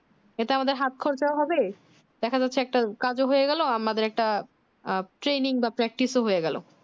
এটা আমাদের হাত খরচাও হবে দেখে যাচ্ছে একটা কাজ ও হয়ে গেল আমাদের ও একটা আহ training বা practice ও হয়ে গেলো